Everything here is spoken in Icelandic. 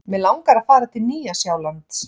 Mig langar að fara til Nýja-Sjálands.